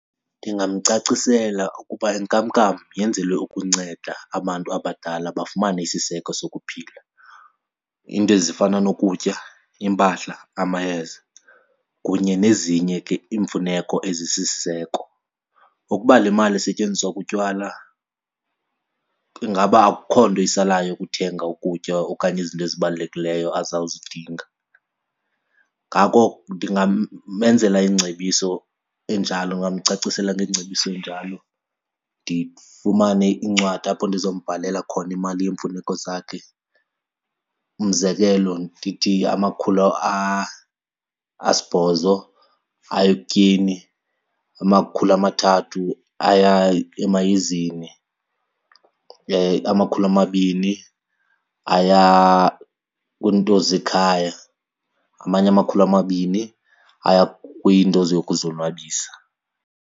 Ndingamcacisela ukuba inkamnkam yenzelwe ukunceda abantu abadala bafumane isiseko sokuphila, iinto ezifana nokutya, iimpahla, amayeza kunye nezinye ke iimfuneko ezisisiseko. Ukuba le mali isetyenziswa kutywala ingaba akukho nto isalayo ukuthenga ukutya okanye izinto ezibalulekileyo azawuzidinga. Ngako ndingamezela ingcebiso enjalo, ndingamcacisela ngengcebiso enjalo ndifumane incwadi apho ndizombhalela khona imali yeemfuneko zakhe. Umzekelo ndithi amakhulu asibhozo aya ekutyeni, amakhulu amathathu aya emayezeni, amakhulu amabini aya kwiinto zekhaya, amanye amakhulu amabini aya kwiinto zokuzonwabisa.